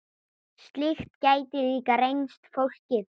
Slíkt gæti líka reynst flókið.